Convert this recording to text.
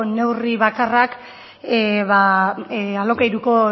neurri bakarrak alokairuko